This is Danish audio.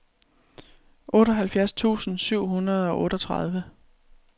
otteoghalvfjerds tusind syv hundrede og otteogtredive